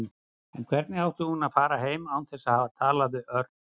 En hvernig átti hún að fara heim án þess að hafa talað við Örn?